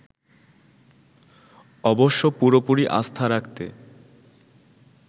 অবশ্য পুরোপুরি আস্থা রাখতে